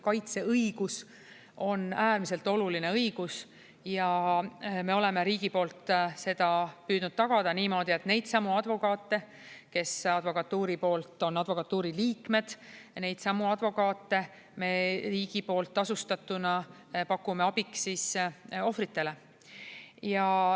Kaitseõigus on äärmiselt oluline õigus ja me oleme riigi poolt seda püüdnud tagada niimoodi, et neidsamu advokaate, kes on advokatuuri liikmed, me riigi poolt tasustatuna pakume abiks ohvritele.